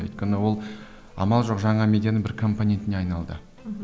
өйткені ол амал жоқ жаңа медианың бір компонентіне айналды мхм